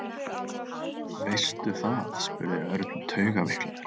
Veistu það? spurði Örn taugaveiklaður.